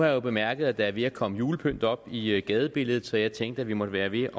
jo bemærket at der er ved at komme julepynt op i gadebilledet så jeg tænkte at vi måtte være ved